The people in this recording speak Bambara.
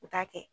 U t'a kɛ